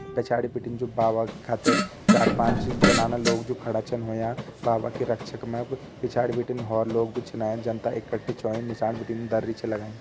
पिछाड़ी बिटिन जु बाबा खातिर चार पांच जनाना लोग जु खड़ा छन होयां बाबा की रक्षा पिछाड़ी बिटिन होर लोग भी छिन जनता इक्ट्ठी छ होईं नीसाण बिटिन दरी छे लगाईं।